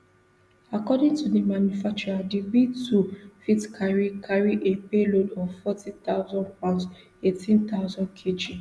according to di manufacturer di btwo fit carry carry a payload of forty thousand pounds eighteen thousand kg